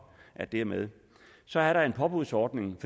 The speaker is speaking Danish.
at det er med så er der en påbudsordning